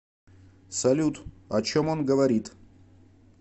салют о чем он говорит